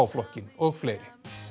flokknum og fleiri